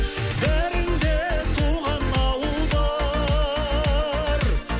бәріңде туған ауыл бар